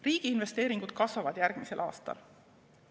Riigi investeeringud kasvavad järgmisel aastal.